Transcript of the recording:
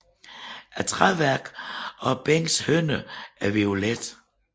Træværket og bænkenes hynder er violet